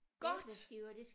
Godt